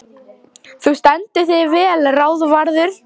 Þú stendur þig vel, Ráðvarður!